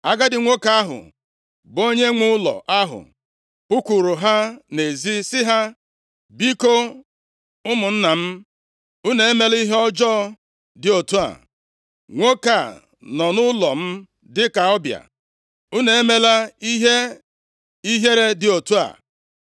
Agadi nwoke ahụ bụ onyenwe ụlọ ahụ pụkwuuru ha nʼezi, sị ha, “Biko ụmụnna m, unu emela ihe ọjọọ dị otu a. Nwoke a nọ nʼụlọ m dịka ọbịa. Unu emela ihe ihere dị otu a.